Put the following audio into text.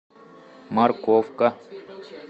морковка